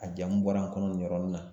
A jamu bɔra n kɔnɔ nin yɔrɔnin na